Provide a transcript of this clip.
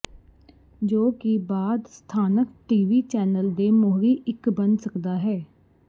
ਜੋ ਕਿ ਬਾਅਦ ਸਥਾਨਕ ਟੀ ਵੀ ਚੈਨਲ ਦੇ ਮੋਹਰੀ ਇੱਕ ਬਣ ਸਕਦਾ ਹੈ